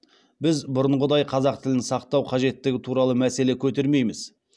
біз бұрынғыдай қазақ тілін сақтау қажеттігі туралы мәселе көтермейміз